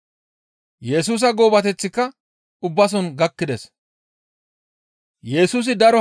Yesusa goobateththika ubbaso gakkides.